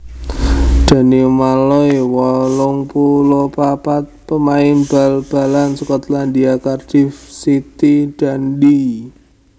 Danny Malloy wolung puluh papat pamain bal balan Skotlandia Cardiff City Dundee